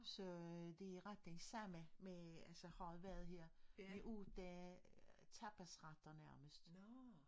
Så øh det ret det samme med altså har været her ved ugedage tapasretter nærmest